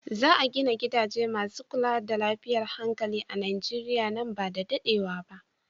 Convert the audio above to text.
Za a gina gidaje masu kula da lafiyar hankali a Nijeriya nan ba da daɗewa ba.